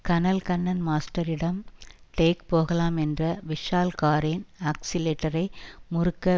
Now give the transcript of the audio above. கனல் கண்ணன் மாஸ்டரிடம் டேக் போகலாம் என்ற விஷால் காரின் ஆக்ஸிலேட்டரை முறுக்க